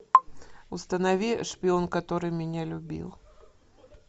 установи шпион который меня любил